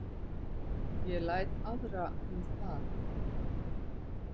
Ég læt aðra um það